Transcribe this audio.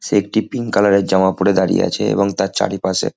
সে একটি pink colour -এর জামা পরে দাঁড়িয়ে আছে এবং তার চারিপাশে--